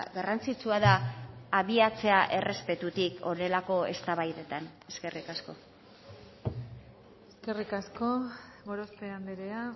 garrantzitsua da abiatzea errespetutik horrelako eztabaidetan eskerrik asko eskerrik asko gorospe andrea